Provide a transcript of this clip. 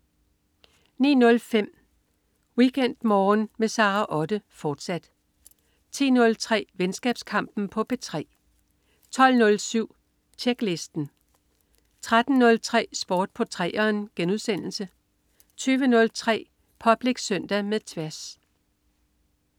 09.05 WeekendMorgen med Sara Otte, fortsat 10.03 Venskabskampen på P3 12.07 Tjeklisten 13.03 Sport på 3'eren* 20.03 Public Søndag med Tværs